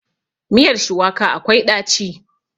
Miyar shuwaka akwai ɗaci.